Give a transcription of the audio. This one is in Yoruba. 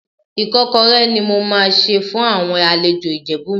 Ìkọ́kọrẹ́ ni mo máa sè fún àwọn àlejò Ìjẹ̀bú mi.